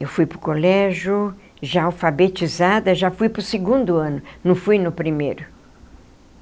Eu fui para o colégio, já alfabetizada, já fui para o segundo ano, não fui no primeiro.